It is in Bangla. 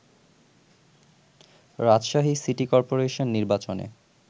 রাজশাহী সিটি কর্পোরেশন নির্বাচনে